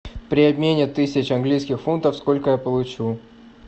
при обмене тысяч английских фунтов сколько я получу